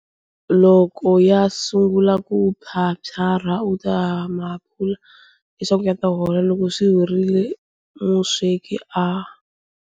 Loko ya sungula ku phyaphyarha u ta ma phula leswaku ya ta hola. Loko swi horile musweki a.